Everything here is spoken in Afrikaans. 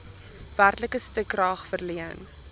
werklike stukrag verleen